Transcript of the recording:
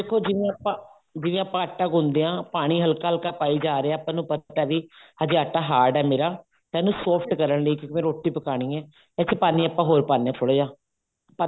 ਦੇਖੋ ਜਿਵੇਂ ਆਪਾਂ ਜਿਵੇਂ ਆਪਾਂ ਆਟਾ ਗੁੰਨਦੇ ਹਾਂ ਪਾਣੀ ਹਲਕਾ ਹਲਕਾ ਪਾਈ ਜਾ ਰਹੇ ਹਾਂ ਆਪਾਂ ਨੂੰ ਪਤਾ ਵੀ ਹਜੇ ਆਟਾ hard ਹੈ ਮੇਰਾ ਇਹਨੂੰ soft ਕਰਨ ਲਈ ਜਿਵੇਂ ਰੋਟੀ ਪਕਾਉਣੀ ਹੈ ਇਹ ਚ ਪਾਣੀ ਆਪਾਂ ਹੋਰ ਪਾਉਣੇ ਹਾ ਥੋੜਾ ਜਾ ਪਤਾ